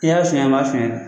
I y'a suɲɛ i m'a suɲɛ